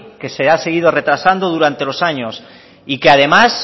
que se ha seguido retrasando durante los años y que además